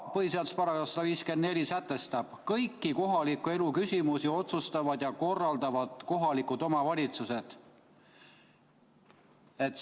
Põhiseaduse § 154 sätestab: "Kõiki kohaliku elu küsimusi otsustavad ja korraldavad kohalikud omavalitsused.